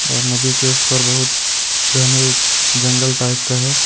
और नदी के उस पार बहुत घने जंगल टाइप का है।